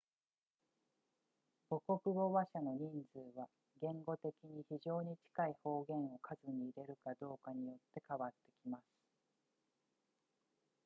母語話者の人数は言語的に非常に近い方言を数に入れるかどうかによって変わってきます